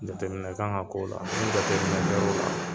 Jatɛminɛ kan ka k'o la , ni jateminɛ kɛr'o la